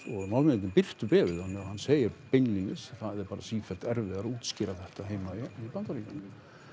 Norðmenn birtu bréfið og hann segir beinlínis það er bara sífellt erfiðara að útskýra þetta heima í Bandaríkjunum